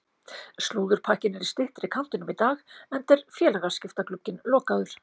Slúðurpakkinn er í styttri kantinum í dag enda er félagaskiptaglugginn lokaður.